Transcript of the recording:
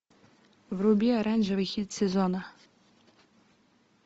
вруби оранжевый хит сезона